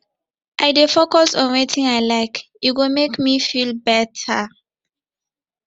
i dey focus on wetin i like e go make me feel beta